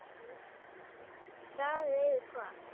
Staðið yfir hvað?